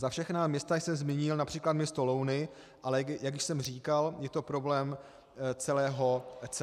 Za všechna města jsem zmínil například město Louny, ale jak už jsem říkal, je to problém celého kraje.